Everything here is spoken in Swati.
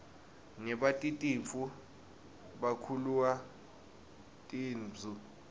nebatitfu bakhelua tinbzu